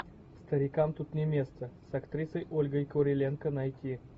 старикам тут не место с актрисой ольгой куриленко найти